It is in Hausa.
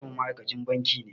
Maƙwabcinmu ma'aikacin banki ne.